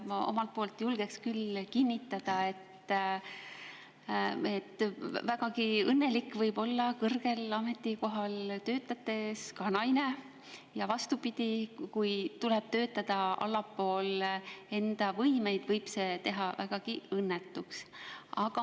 Ma omalt poolt julgen küll kinnitada, et ka naine võib olla vägagi õnnelik kõrgel ametikohal töötades, ja vastupidi, see, kui tuleb töötada allpool oma võimeid, võib teha vägagi õnnetuks.